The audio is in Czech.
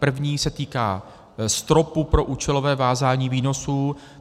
První se týká stropu pro účelové vázání výnosů.